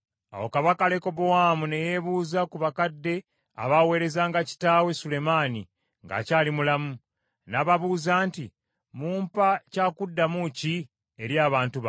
Awo kabaka Lekobowaamu ne yeebuuza ku bakadde abaaweerezanga kitaawe Sulemaani ng’akyali mulamu. N’ababuuza nti, “Mumpa kya kuddamu ki eri abantu bano?”